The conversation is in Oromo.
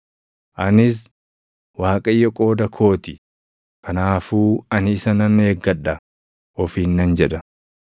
Anis, “ Waaqayyo qooda koo ti; kanaafuu ani isa nan eeggadha” ofiin nan jedha.